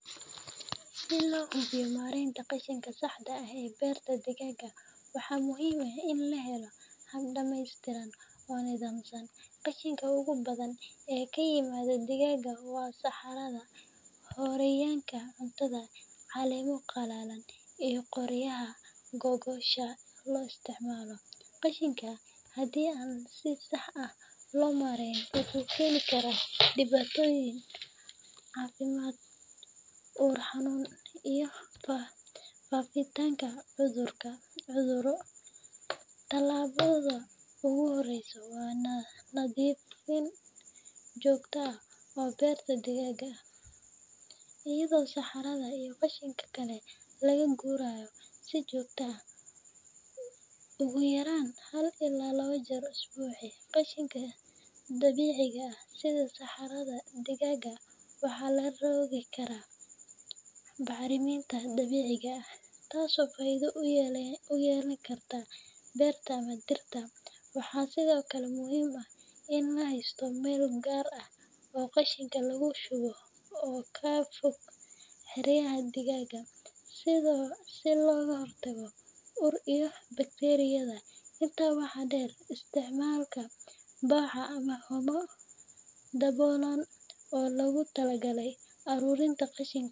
Si loo hubiyo maaraynta qashinka saxda ah ee beerta digaagga, waxaa muhiim ah in la helo hab dhammaystiran oo nidaamsan. Qashinka ugu badan ee ka yimaada digaagga waa saxarada, harooyinka cuntada, caleemo qalalan, iyo qoryaha gogosha loo isticmaalo. Qashinkan, haddii aan si sax ah loo maareyn, wuxuu keeni karaa dhibaatooyin caafimaad, ur xun, iyo faafitaanka cudurro. Talaabada ugu horreysa waa nadiifin joogto ah oo beerta digaagga ah, iyadoo saxarada iyo qashinka kale laga gurayo si joogto ah, ugu yaraan 1–2 jeer usbuucii. Qashinka dabiiciga ah sida saxarada digaagga waxaa lagu rogi karaa bacriminta dabiiciga ah , taasoo faa’iido u yeelan karta beerta ama dhirta. Waxaa sidoo kale muhiim ah in la haysto meel gaar ah oo qashinka lagu shubo oo ka fog xeryaha digaagga, si looga hortago ur iyo bakteeriyada. Intaa waxaa dheer, isticmaalka baco ama haamo daboolan oo loogu talagalay ururinta qashinka.